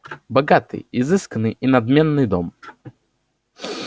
богатый изысканный и надменный дом